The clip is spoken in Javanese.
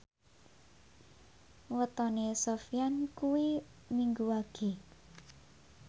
wetone Sofyan kuwi Minggu Wage